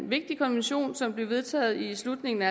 vigtig konvention som blev vedtaget i slutningen af